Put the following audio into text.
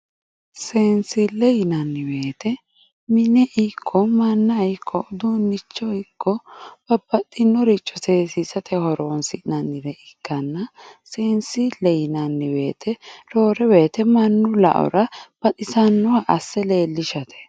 seensille yinanni woyte mine ikko manna uduunnicho ikko babbaxxinoricho seessisate horonsi'nanni gede ikkanna seense leellinanni woyte mannu la'ora baxisannoha asse leellishate.